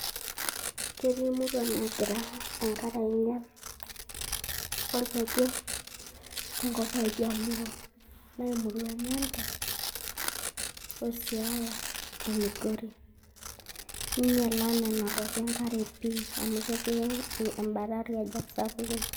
Ketii murua naagira enkare ainyial olkeju tenkop oo iljaluo, naa emurua e Nyando, Siaya o Migori neinyiala nena kuapi enkare pii amu ketii embata olkejek sapukini.